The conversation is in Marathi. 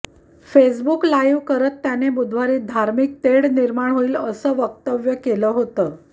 फेसबुक लाईव्ह करत त्याने बुधवारी धार्मिक तेढ निर्माण होईल असं वक्तव्य केलं होतं